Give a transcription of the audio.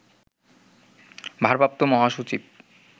ভারপ্রাপ্ত মহাসচিব